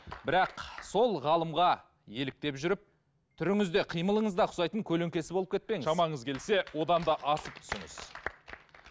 бірақ сол ғалымға еліктеп жүріп түріңіз де қимылыңыз да ұқсайтын көлеңкесі болып кетпеңіз шамаңыз келсе одан да асып түсіңіз